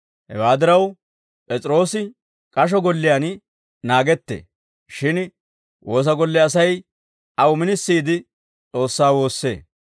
Hewaa diraw, P'es'iroosi k'asho golliyaan naagettee; shin woosa golle Asay aw minisiide S'oossaa woossee.